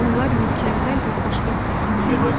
Onlar mükəmməl və xoşbəxt idilər.